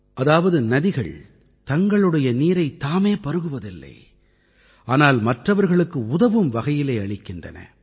அதாவது நதிகள் தங்களுடைய நீரைத் தாமே பருகுவதில்லை ஆனால் மற்றவர்களுக்கு உதவும் வகையிலே அளிக்கின்றன